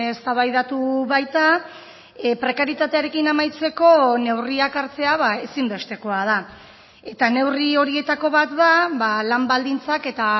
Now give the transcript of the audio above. eztabaidatu baita prekarietatearekin amaitzeko neurriak hartzea ezinbestekoa da eta neurri horietako bat da lan baldintzak eta